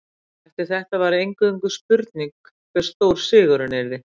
Eftir þetta var eingöngu spurning hve stór sigurinn yrði.